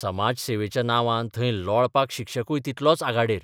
समाजसेवेच्या नांवान थंय लोळपाक शिक्षकूय तितलोच आघाडेर.